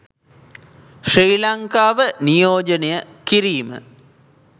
ශ්‍රී ලංකාව නියෝජනය කිරීම